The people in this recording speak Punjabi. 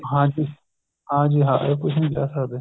ਹਾਂਜੀ ਹਾਂਜੀ ਹਾਂ ਇਹ ਕੁੱਝ ਨੀ ਕਿਹ ਸਕਦੇ